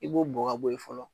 I b'o bɔn ka bɔ ye fɔlɔ.